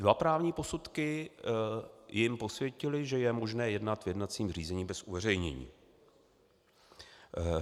Dva právní posudky jim posvětily, že je možné jednat v jednacím řízení bez uveřejnění.